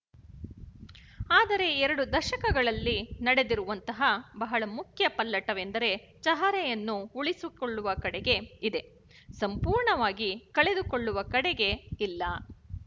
ಆದರೆ ಎರಡು ದಶಕಗಳಲ್ಲಿ ನಡೆದಿರುವಂತಹ ಬಹಳ ಮುಖ್ಯ ಪಲ್ಲಟವೆಂದರೆ ಚಹರೆಯನ್ನು ಉಳಿಸಿಕೊಳ್ಳುವ ಕಡೆಗೆ ಇದೆ ಸಂಪೂರ್ಣವಾಗಿ ಕಳೆದುಕೊಳ್ಳುವ ಕಡೆಗೆ ಇಲ್ಲ